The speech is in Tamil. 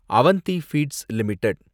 Avanti feeds limited